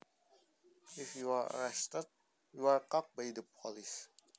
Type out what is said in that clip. If you are arrested you are caught by the police